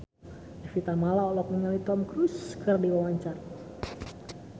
Evie Tamala olohok ningali Tom Cruise keur diwawancara